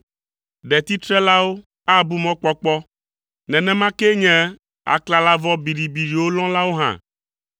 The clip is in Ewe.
Ɖetitrelawo abu mɔkpɔkpɔ, nenema kee nye aklalavɔ biɖibiɖiwo lɔ̃lawo hã.